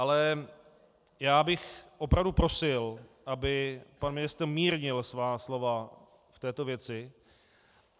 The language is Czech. Ale já bych opravdu prosil, aby pan ministr mírnil svá slova v této věci.